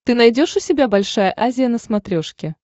ты найдешь у себя большая азия на смотрешке